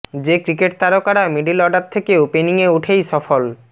যে ক্রিকেট তারকারা middle order থেকে ওপেনিংয়ে উঠেই সফল